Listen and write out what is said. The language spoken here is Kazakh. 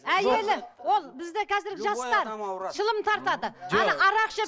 әйелі ол бізде қазіргі жастар шылым тартады арақ ішеді